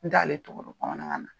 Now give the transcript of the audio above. N t'ale tɔgɔ dɔn bamanankan na.